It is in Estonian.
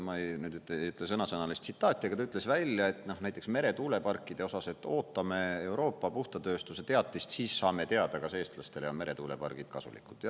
Ma ei ütle nüüd sõnasõnalist tsitaati, aga ta ütles välja, näiteks meretuuleparkide osas, et ootame Euroopa puhta tööstuse teatist, siis saame teada, kas eestlastele on meretuulepargid kasulikud.